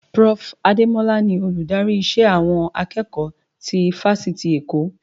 Prof. Ademola ni Olùdarí ìṣe àwọn akẹ́kọ̀ọ́ ti fáṣítì Èkó